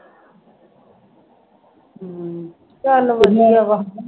ਚੱਲ ਵਧੀਆ ਵਾ